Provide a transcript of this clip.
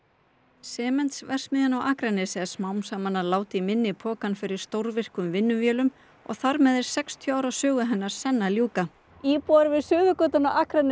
Sementsverksmiðjan á Akranesi er smám saman að láta í minni pokann fyrir stórvirkum vinnuvélum og þar með er sextíu ára sögu hennar senn að ljúka íbúar við Suðurgötuna á Akranesi